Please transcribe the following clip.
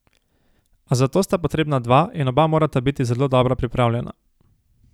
A za to sta potrebna dva in oba morata biti zelo dobro pripravljena.